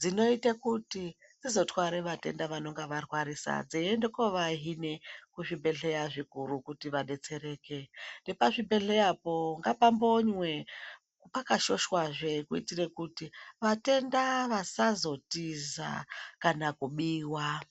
dzinooita kuti dziso twara vatenda vanenge va rwarisa dzeende kova hine ku zvibhedhleya zvikuru kuti vadetsereke nepa zvibhedhlera po ngapa mbonywe paka shoshwa zve kutire kuti vatenda vasazo tiza kana kubiwa.